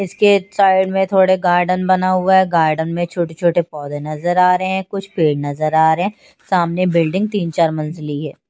इसके साइड में थोड़े गार्डन बना हुआ हैं गार्डन में छोटे छोटे पौधे नजर आ रहे हैं कुछ पेड़ नजर आ रहे हैं सामने बिल्डिंग तीन चार मंजिली हैं।